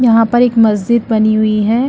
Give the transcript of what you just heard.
यहाँ पर एक मस्जिद बनी हुई है।